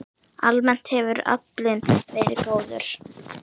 Almennt hefur aflinn verið góður.